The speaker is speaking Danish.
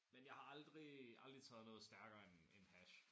Men jeg har aldrig aldrig taget noget stærkere end end hash